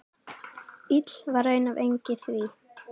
Ill var raun af engi því.